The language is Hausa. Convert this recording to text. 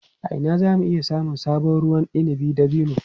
A ina za mu iya samun sabon ruwan inabin dabino?